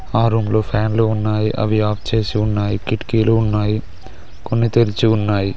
ఆ రూమ్ లో ఫ్యాన్లు ఉన్నాయి అవి ఆఫ్ చేసి ఉన్నాయి కిటికీలు ఉన్నాయి కొన్ని తెరిచి ఉన్నాయి..